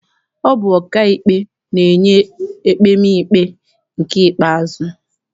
Ọ bụ ọkaikpe na-enye ekpemikpe nke ikpeazụ.